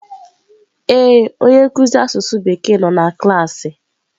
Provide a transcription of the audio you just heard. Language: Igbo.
Ee, onye nkuzi asụsụ Bekee nọ na klaasị.